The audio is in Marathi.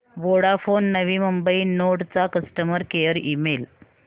वोडाफोन नवी मुंबई नोड चा कस्टमर केअर ईमेल